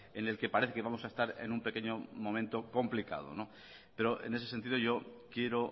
en el que parece que vamos a estar en un pequeño momento complicado pero en ese sentido yo quiero